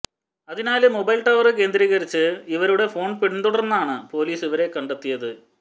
അതിനാല് mobile tower കേന്ദ്രീകരിച്ച് ഇവരുടെ ഫോണ് പിന്തുടര്ന്നാണ് പോലീസ് ഇവരെ കണ്ടെത്തിയത്